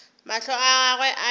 mahlo a gagwe a be